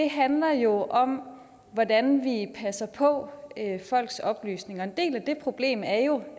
handler jo om hvordan vi passer på folks oplysninger og en del af det problem er jo